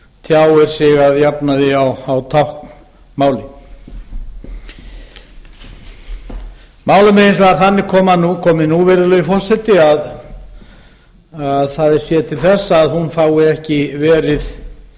tjáir sig að jafnaði á táknmáli málinu er hins vegar þannig komið nú virðulegur forseti að það er séð til þess að hún fái ekki verið